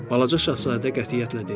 Balaca şahzadə qətiyyətlə dedi.